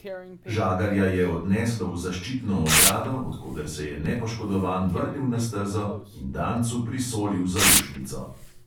Žagarja je odneslo v zaščitno ogrado, od koder se je nepoškodovan vrnil na stezo in dancu prisolil zaušnico.